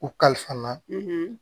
U kalifa na